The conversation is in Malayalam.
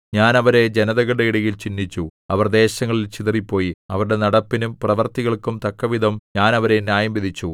ഞാൻ അവരെ ജനതകളുടെ ഇടയിൽ ചിന്നിച്ചു അവർ ദേശങ്ങളിൽ ചിതറിപ്പോയി അവരുടെ നടപ്പിനും പ്രവൃത്തികൾക്കും തക്കവിധം ഞാൻ അവരെ ന്യായംവിധിച്ചു